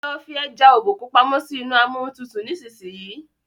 lo fí eja Obokun pàmò sí inú Amóhuntutù nísìsiyìí!